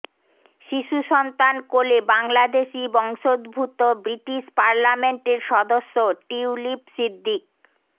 শিশুসন্তান কোলে বাংলাদেশি বংশোদ্ভূত ব্রিটিশ পার্লামেন্টের সদস্য টিউলিপ সিদ্দিক